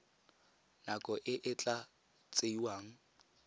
nako e e tla tsewang